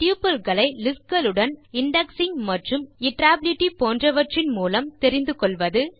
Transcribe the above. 2டப்பிள்ஸ் களை லிஸ்ட் களுடன் இண்டெக்ஸிங் மற்றும் இட்டரபிலிட்டி போன்றவற்றின் மூலம் தெரிந்து கொள்வது